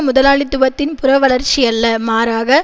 முதலாளித்துவத்தின் புறவளர்ச்சியல்ல மாறாக